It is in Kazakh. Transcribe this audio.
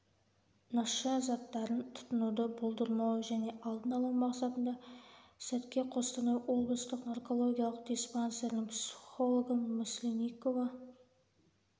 наша заттарын тұтынуды болдырмау және алдын алу мақсатында слтке қостанай облыстық наркологиялық диспансерінің психологы масленникова